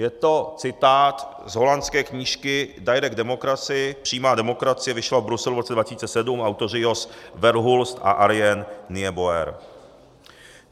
Je to citát z holandské knížky Direct Democracy, Přímá demokracie, vyšlo v Bruselu v roce 2007, autoři Jos Verhulst a Arjen Nijeboer.